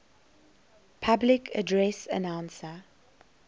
public address announcer